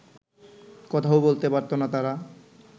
কথাও বলতে পারত না তারা